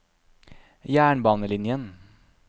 jernbanelinjen